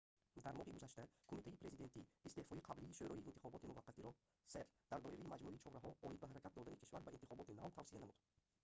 дар моҳи гузашта кумитаи президентӣ истеъфои қаблии шӯрои интихоботии муваққатиро cep дар доираи маҷмӯи чораҳо оид ба ҳаракат додани кишвар ба интихоботи нав тавсия намуд